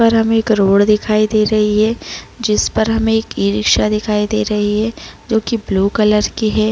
उपर हमें एक रोड दिखाई दे रही है जिसपर हमे एक ई रिक्शा दिखाई दे रही है जो की ब्लू कलर की है ।